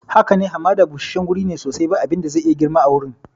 Haka ne, hamada busasshen guri ne sosai, ba abin da zai iya girma a wurin.